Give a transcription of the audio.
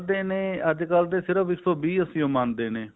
ਕਹਿੰਦੇ ਨੇ ਅੱਜਕਲ ਬਸ ਇੱਕ ਸੋ ਵੀਹ ਅੱਸੀ ਹੀ ਮੰਨਦੇ ਨੇ